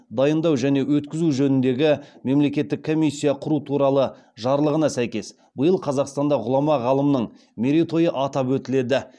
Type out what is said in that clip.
дайындау және өткізу жөніндегі мемлекеттік комиссия құру туралы жарлығына сәйкес биыл қазақстанда ғұлама ғалымның мерейтойы атап өтіледі